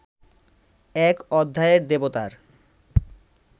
এক অধ্যায়ের দেবতার